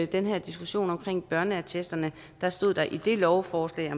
den her diskussion om børneattesterne stod der i lovforslaget